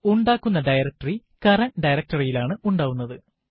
ഉണ്ടാക്കുന്ന directory current directory യിലാണ് ഉണ്ടാവുന്നത്